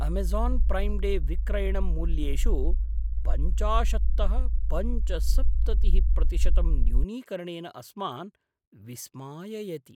Amazon Prime Day विक्रयणं मूल्येषु पञ्चाशत्तः पञ्चसप्ततिः प्रतिशतं न्यूनीकरणेन अस्मान् विस्माययति।